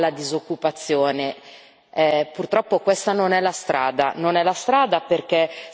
di aiuto alla disoccupazione. Purtroppo questa non è la strada.